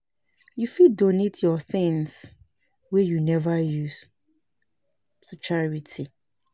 You fit donate yur tins wey yu neva use to charity.